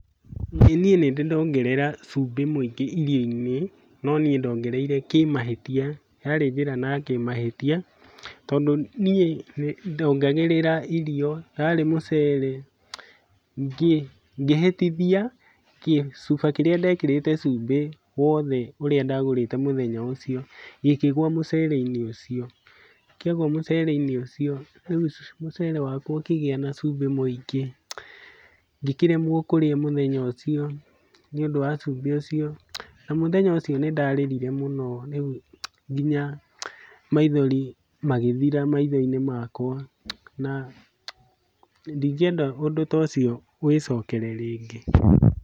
Ĩĩ niĩ ndĩnĩ ndongerera cumbĩ mũingĩ irio-inĩ, no niĩ ndongereire kĩmahĩtia yarĩ njĩra na kĩmahĩtia, tondũ niĩ ndongagĩrĩra irio yarĩ mũcere, ngĩhĩtithia gĩcuba kĩrĩa ndekĩrĩte cumbĩ wothe ũrĩa ndagũrĩte mũthenya ũcio gĩkĩgũa mũcere-inĩ ũcio. Kĩagwa mũcere-inĩ ũcio, rĩu mũcere wakwa ũkĩgĩa na cumbĩ mũingĩ, ngĩkĩremwo kũrĩa mũthenya ũcio nĩũndũ wa cumbĩ ũcio. Na mũthenya ũcio nĩndarĩrire mũno nginya maithori magĩthira maitho-inĩ makwa na ndingĩenda ũndũ ta ũcio wĩcokere rĩngĩ.